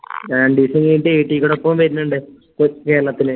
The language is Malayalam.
രണ്ടീസം കഴിഞ്ഞിട്ട് വരുന്നുണ്ട് കോ കേരളത്തില്‍